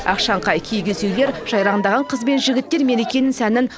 ақшаңқай киіз үйлер жайраңдаған қыз бен жігіттер мерекенің сәнін